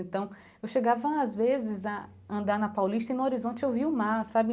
Então, eu chegava às vezes a andar na paulista e no horizonte eu via o mar, sabe?